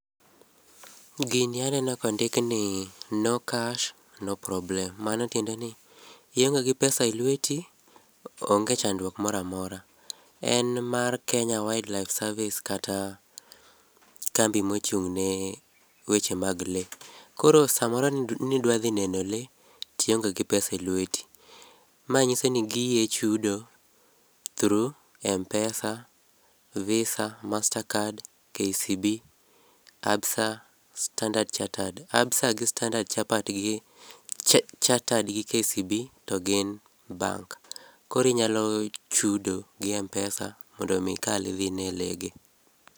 Gini aneno kondikni no cash, no problem. Mano tiende ni ionge gi pesa e lweti, onge chandruok moramora. En mar Kenya Wildlife Service kata kambi ma ochung' ne le. Koro samoro nidwadhi neno le tionge gi pesa e lweti. Ma nyiso ni giyie chudo through M-pesa, VISA, Mastercard, KCB, Absa, Standard Chartered. Absa gi Standard Chartered gi KCB to gin bank, korinyalo chudo gi M-pesa mondo mi ikal idhi ine le gi.